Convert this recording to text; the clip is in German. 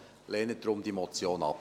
Lehnen Sie deshalb diese Motion ab.